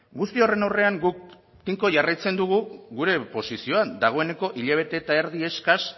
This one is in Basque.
guzti horren aurrean guk tinko jarraitzen dugu gure posizioan dagoeneko hilabete eta erdi eskas